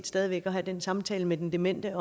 stadig væk at have den samtale med den demente